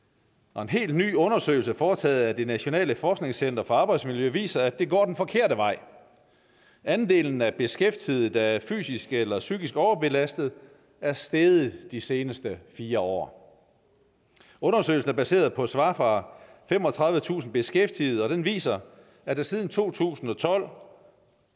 og en helt ny undersøgelse foretaget af det nationale forskningscenter for arbejdsmiljø viser at det går den forkerte vej andelen af beskæftigede der er fysisk eller psykisk overbelastede er steget de seneste fire år undersøgelsen er baseret på svar fra femogtredivetusind beskæftigede og den viser at der siden to tusind og tolv